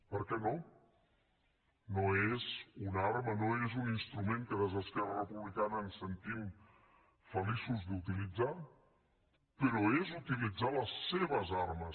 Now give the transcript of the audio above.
per què no no és una arma no és un instrument que des d’esquerra republicana ens sentim feliços d’utilitzar però és utilitzar les seves armes